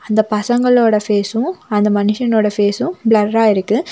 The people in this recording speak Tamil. அந்த பசங்களோட ஃபேசும் அந்த மனுஷனோட ஃபேசும் பிளர்ரா இருக்கு.